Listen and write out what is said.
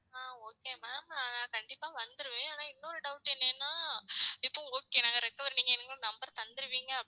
ஆஹ் okay ma'am நா கண்டிப்பா வந்திருவேன் ஆனா இன்னொரு doubt என்னென்னா இப்போ okay நாங்க recover நீங்க எங்களுக்கு number தந்திருவிங்க